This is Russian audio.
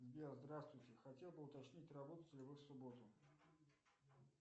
сбер здравствуйте хотел бы уточнить работаете ли вы в субботу